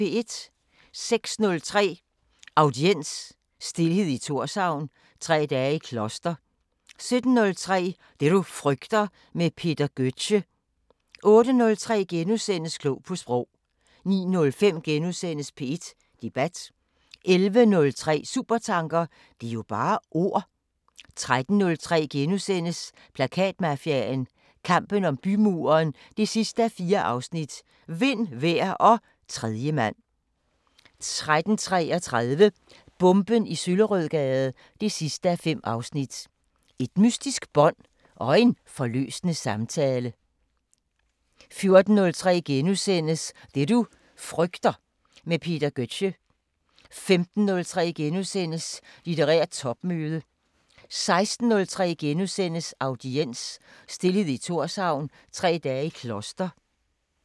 06:03: Audiens: Stilhed i Thorshavn – Tre dage i kloster 07:03: Det du frygter – med Peter Gøtzsche 08:03: Klog på Sprog * 09:05: P1 Debat * 11:03: Supertanker: Det er jo bare ord... 13:03: Plakatmafiaen – kampen om bymuren 4:4 – Vind, vejr og tredjemand * 13:33: Bomben i Søllerødgade 5:5 – Et mystisk bånd og en forløsende samtale 14:03: Det du frygter – med Peter Gøtzsche * 15:03: Litterært topmøde * 16:03: Audiens: Stilhed i Thorshavn – Tre dage i kloster *